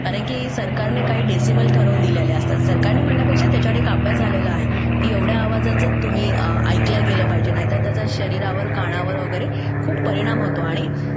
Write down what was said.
कारण की सरकारने काही डेसिमल ठरवून दिलेले असतात सरकारने म्हणण्यापेक्षा त्याच्यावर एक अभ्यास झालेला आहे की एवढ्या आवाजातच ऐकल्या गेलं पाहिजे नाहीतर त्याचा शरीरावर कानावर वगैरे खूप परिणाम होतो आणि